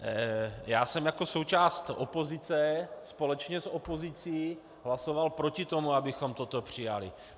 Já jsem jako součást opozice, společně s opozicí, hlasoval proti tomu, abychom toto přijali.